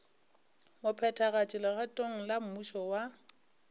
mophethagatši legatong la mmušo wa